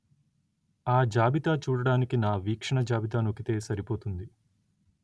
ఆ జాబితా చూడడానికి నా వీక్షణ జాబితా నొక్కితే సరిపోతుంది